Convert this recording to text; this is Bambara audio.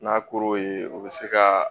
N'a kor'o ye u bɛ se ka